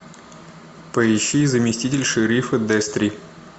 поищи заместитель шерифа дестри